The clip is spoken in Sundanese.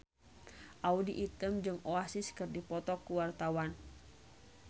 Audy Item jeung Oasis keur dipoto ku wartawan